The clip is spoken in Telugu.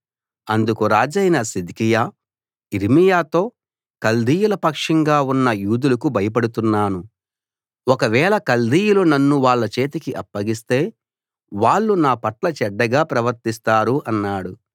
అందుకు రాజైన సిద్కియా యిర్మీయాతో కల్దీయుల పక్షంగా ఉన్న యూదులకు భయపడుతున్నాను ఒకవేళ కల్దీయులు నన్ను వాళ్ళ చేతికి అప్పగిస్తే వాళ్ళు నాపట్ల చెడ్డగా ప్రవర్తిస్తారు అన్నాడు